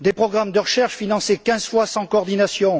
des programmes de recherche financés quinze fois sans coordination